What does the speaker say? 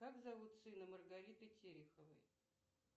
как зовут сына маргариты тереховой